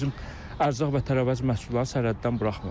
Bir də görürsən bizim ərzaq və tərəvəz məhsullarını sərhəddən buraxmır.